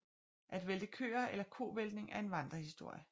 At vælte køer eller kovæltning er en vandrehistorie